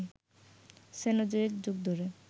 Cenozoic যুগ ধরে